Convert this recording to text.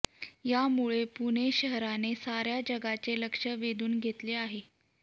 यामुळे पुणे शहराने साऱ्या जगाचे लक्ष वेधून घेतले आहे